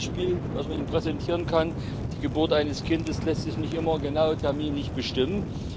Ein Beispiel, das man Ihnen präsentieren kann Die Geburt eines Kindes lässt sich nicht immer genau terminlich bestimmen.